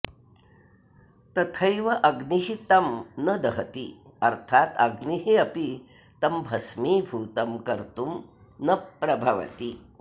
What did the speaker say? तथैव अग्निः तं न दहति अर्थात् अग्निः अपि तं भस्मीभूतं कर्तुं न प्रभवति